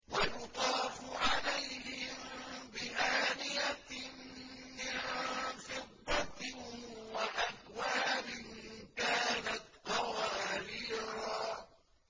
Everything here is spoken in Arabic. وَيُطَافُ عَلَيْهِم بِآنِيَةٍ مِّن فِضَّةٍ وَأَكْوَابٍ كَانَتْ قَوَارِيرَا